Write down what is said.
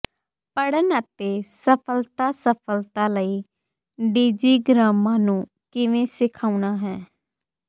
ਪੜ੍ਹਨ ਅਤੇ ਸਫ਼ਲਤਾ ਸਫ਼ਲਤਾ ਲਈ ਡਿਜੀਗ੍ਰਾਮਾਂ ਨੂੰ ਕਿਵੇਂ ਸਿਖਾਉਣਾ ਹੈ